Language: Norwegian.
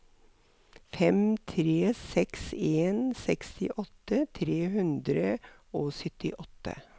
fem tre seks en sekstiåtte tre hundre og syttiåtte